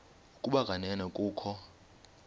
ukuba kanene kukho